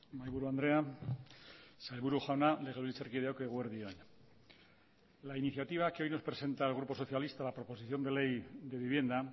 mahaiburu andrea sailburu jauna legebiltzarkideok eguerdi on la iniciativa que hoy nos presenta el grupo socialista la proposición de ley de vivienda